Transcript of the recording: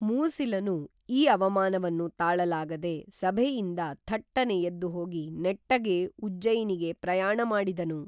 ಮೂಸಿಲನು ಈ ಅವಮಾನವನ್ನು ತಾಳಲಾಗದೆ ಸಭೆಯಿಂದ ಥಟ್ಟನೆ ಎದ್ದು ಹೋಗಿ ನೆಟ್ಟಗೇ ಉಜ್ಜಯಿನಿಗೆ ಪ್ರಯಾಣ ಮಾಡಿದನು